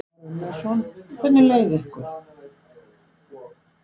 Kristján Már Unnarsson: Hvernig leið ykkur?